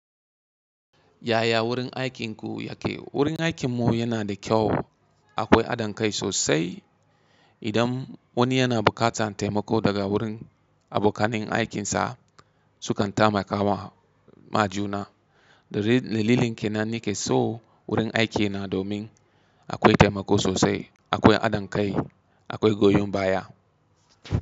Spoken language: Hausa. Yaya wurin aikinku yake? Wurin aikinmu yana da kyau akwai adon kai sosai. Idan wani yana buƙatan taimako daga wurin abokanin aikinsa sukan taimakawa ma juna. Dalilin kenan ne ke so wurin aiki na domin akwai taimako sosai, akwai adon kai, akwai goyon baya.